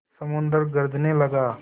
समुद्र गरजने लगा